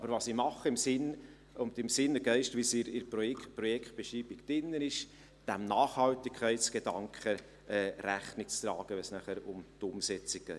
Aber was ich mache, ist dem Nachhaltigkeitsgedanken in dem Sinn und Geist, wie er in der Projektbeschreibung enthalten ist, Rechnung tragen, wenn es nachher um die Umsetzung geht.